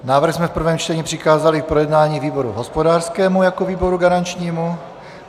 Návrh jsme v prvém čtení přikázali k projednání výboru hospodářskému jako výboru garančnímu.